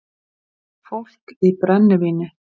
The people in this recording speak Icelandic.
Fólk í brennivíni